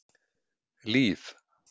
Líf